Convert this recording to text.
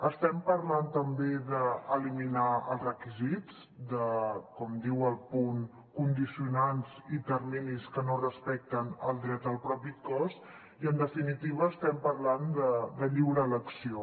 estem parlant també d’eliminar els requisits de com diu el punt condicionants i terminis que no respecten el dret al propi cos i en definitiva estem parlant de lliure elecció